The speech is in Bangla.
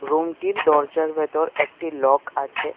রুম -টির দরজার ভেতর একটি লক আছে।